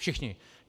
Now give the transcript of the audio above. Všichni.